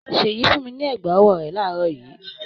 Ṣèyí fún mi ní ẹ̀gbá-ọwọ́ rẹ̀ láàárọ̀ yìí.